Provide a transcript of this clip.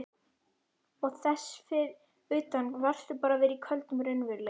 Og þess utan varðstu bara að vera í köldum raunveruleikanum.